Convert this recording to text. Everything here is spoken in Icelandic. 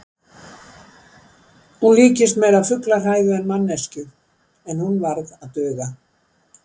Hún líktist meira fuglahræðu en manneskju, en hún varð að duga.